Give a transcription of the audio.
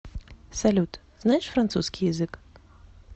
салют знаешь французский язык